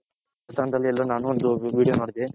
ಎಲ್ಲೋ ಒಂದು ವಿಡಿಯೋ ನೋಡ್ದೆ.